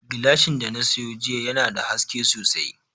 Gilashin da na sayo jiya yana da haske sosai